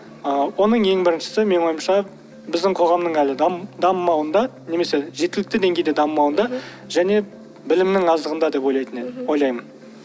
ааа оның ең біріншісі менің ойымша біздің қоғамның әлі дамымауында немесе жеткілікті деңгейде дамымауында және білімнің аздығында деп ойлайтын едім ойлаймын